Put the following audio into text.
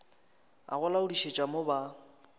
a go laodišetša mo ba